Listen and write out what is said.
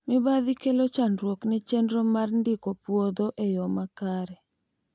mibadhi kelo chandruok ne chenro mar ndiko puodho e yo makare